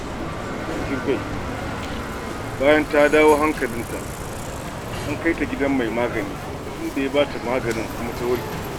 Bayan ta dawo hankalinta, an kai ta gidan mai magani, inda ya ba ta magani kuma ta warke.